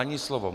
Ani slovo.